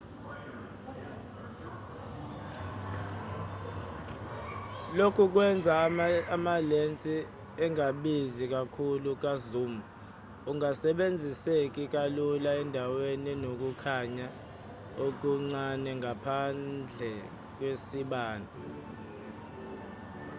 lokhu kwenza amalensi angabizi kakhulu ka-zoom angasebenziseki kalula endaweni enokukhanya okuncane ngaphandle kwesibani